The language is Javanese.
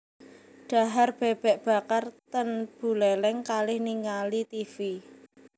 Dhahar bebek bakar ten Buleleng kalih ningali tivi